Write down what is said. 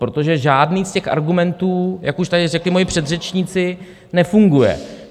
Protože žádný z těch argumentů, jak už tady řekli moji předřečníci, nefunguje.